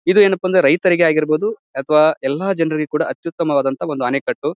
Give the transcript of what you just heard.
ಇದು ಏನಪ್ಪಾ ಅಂದ್ರೆ ರೈತರಿಗೆ ಆಗಿರಬಹುದು ಅಥವಾ ಎಲ್ಲ ಜನರಿಗೆ ಕೂಡ ಅತ್ಯುತ್ತಮವಾದಂತಹ ಅಣೆಕಟ್ಟು.